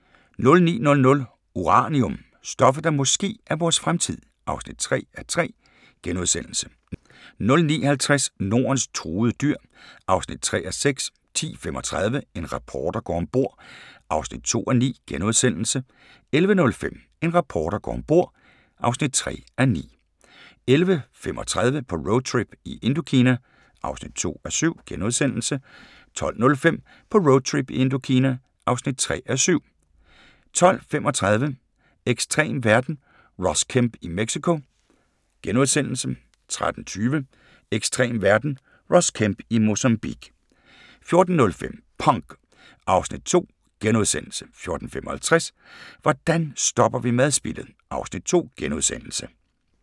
09:00: Uranium – stoffet, der måske er vores fremtid (3:3)* 09:50: Nordens truede dyr (3:6) 10:35: En reporter går om bord (2:9)* 11:05: En reporter går om bord (3:9) 11:35: På roadtrip i Indokina (2:7)* 12:05: På roadtrip i Indokina (3:7) 12:35: Ekstrem verden - Ross Kemp i Mexico * 13:20: Ekstrem verden – Ross Kemp i Mozambique 14:05: Punk (Afs. 2)* 14:55: Hvordan stopper vi madspildet? (Afs. 2)*